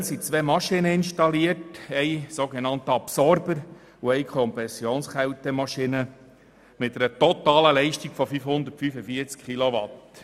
Aktuell sind zwei Maschinen installiert, ein sogenannter Absorber und eine Kompressionskältemaschine mit einer totalen Leistung von 545 Kilowatt.